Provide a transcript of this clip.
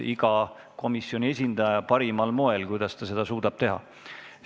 Iga komisjoni esindaja teeb seda parimal moel, kuidas ta seda suudab teha.